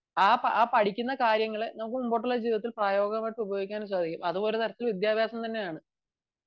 ആ പഠിക്കുന്ന കാര്യങ്ങൾ നമുക്ക് മുന്നോട്ടുള്ള ജീവിതത്തിൽ പ്രയോഗികമായിട്ടു ഉപയോഗിക്കാൻ സാധിക്കും അതും ഒരുതരത്തിലുള്ള വിദ്യാഭ്യാസം തന്നെയാണ്